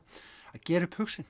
gera upp hug sinn